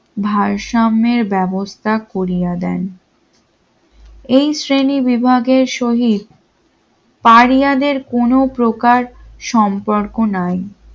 ভারসাম্যের ব্যবস্থা করিয়া দেন এই শ্রেণীবিভাগের শহী দ কারিয়াদের কোন প্রকার সম্পর্ক নাই।